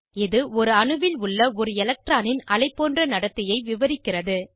இது ஒரு அணுவில் உள்ள ஒரு எலக்ட்ரானின் அலைபோன்ற நடத்தையை விவரிக்கிறது